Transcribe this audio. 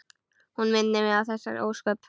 Hún minnir á þessi ósköp.